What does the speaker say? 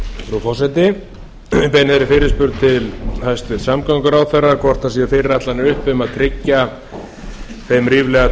ég beini þeirri fyrirspurn til hæstvirts samgönguráðherra hvort það séu fyrirætlanir uppi um að tryggja þeim ríflega